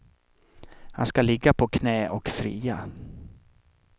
Han ska ligga på knä och fria.